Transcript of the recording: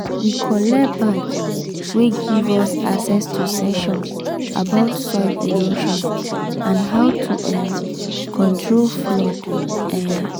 we collect badge wey give us access to session about soil erosion and how to um control flood. um